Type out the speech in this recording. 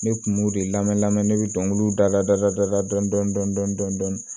Ne kun b'o de lamɛn lamɛn ne bɛ dɔnkiliw dala da la dɔni dɔni dɔni dɔn dɔn